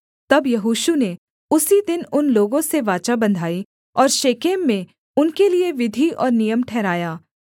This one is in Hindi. तब यहोशू ने उसी दिन उन लोगों से वाचा बँधाई और शेकेम में उनके लिये विधि और नियम ठहराया